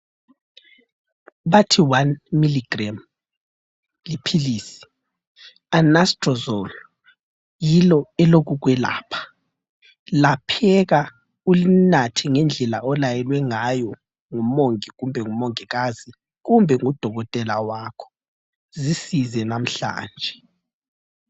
Bathi 1mg liphilisi. Anastrozole. Yilo elokukwelapha. Lapheka ulinathe ngendlela olayelwe ngayo ngumongi kumbe ngumongikazi kumbe ngudokotela wakho. Zisize lamhlanje!